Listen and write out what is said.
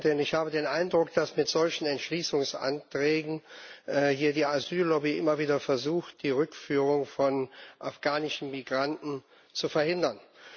Präsidentin! Ich habe den Eindruck, dass mit solchen Entschließungsanträgen hier die Asyl Lobby immer wieder versucht, die Rückführung von afghanischen Migranten zu verhindern.